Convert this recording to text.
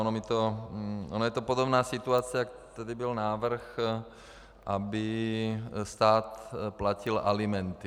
Ona je to podobná situace, jak tady byl návrh, aby stát platil alimenty.